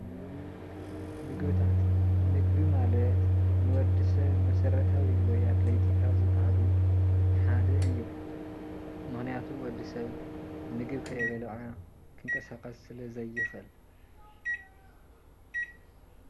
ምግብታት፦ ምግቢ ማለት ንወድሰብ መስረታዊ ወይ አድለይቲ ካብ ዝበሃሉ ሓደ እዩ፡፡ ምክንያቱ ወድስብ ምግቢ ከይበልዐ ክንቀሳቀስ ስለ ዘይክእል፡፡